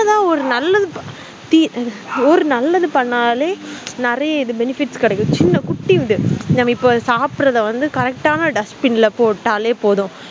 சின்னதா ஒரு நல்லது ப தி ஓர் நல்லது பண்ணலே நெறைய benefit கெடைக்கும் இல்ல குட்டிஊண்டு இப்போ சாபிடுறத வந்து correct ஆஹ் ந dustbin ல வந்து போட்டாலே போதும்